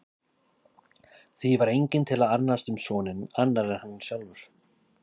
Því var enginn til að annast um soninn annar en hann sjálfur.